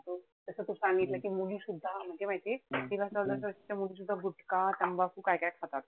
जस तू सांगितलं कि मुलीसुद्धा म्हंणजे माहितीये, मुली सुद्धा घुटका, तंबाकू काय-काय खातात.